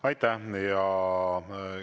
Aitäh!